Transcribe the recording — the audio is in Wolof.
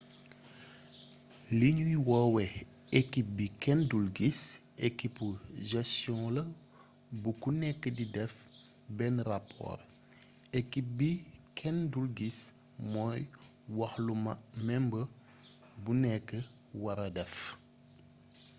li ñuy woowe «ekip bi kenn dul gis» ekibu gestion la bu ku nekk di def benn rapoor. ekip bi kenn dul gis mooy wax lu member bu nekk wara def